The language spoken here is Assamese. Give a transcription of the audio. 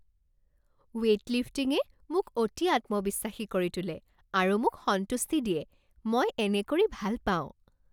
ৱেইট লিফটিঙে মোক অতি আত্মবিশ্বাসী কৰি তোলে আৰু মোক সন্তুষ্টি দিয়ে। মই এনে কৰি ভাল পাওঁ।